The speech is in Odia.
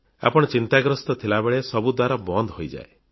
ଆପଣ ଚିନ୍ତାଗସ୍ତ୍ର ଥିବା ବେଳେ ସବୁ ଦ୍ବାର ବନ୍ଦ ହୋଇଯାଏ